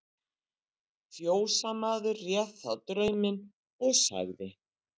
Fjósamaður réð þá drauminn, og sagði